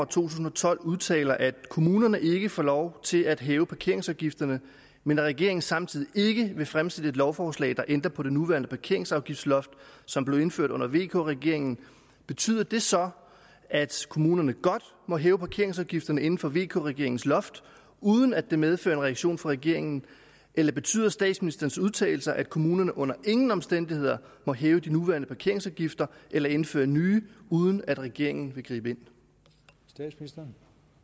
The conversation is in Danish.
tusind og tolv udtaler at kommunerne ikke får lov til at hæve parkeringsafgifterne men at regeringen samtidig ikke vil fremsætte et lovforslag der ændrer på det nuværende parkeringsafgiftsloft som blev indført under vk regeringen betyder det så at kommunerne godt må hæve parkeringsafgifterne inden for vk regeringens loft uden at det medfører en reaktion fra regeringen eller betyder statsministerens udtalelser at kommunerne under ingen omstændigheder må hæve de nuværende parkeringsafgifter eller indføre nye uden at regeringen vil gribe ind